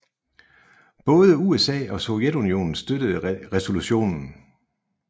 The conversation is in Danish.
Både USA og Sovjetunionen støttede resolutionen